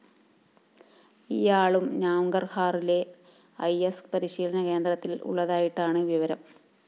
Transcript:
ഇയാളും നാംഗര്‍ഹാറിലെ I S പരിശീലനകേന്ദ്രത്തില്‍ ഉള്ളതായിട്ടാണ് വിവരം